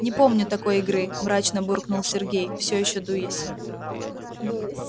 не помню такой игры мрачно буркнул сергей всё ещё дуясь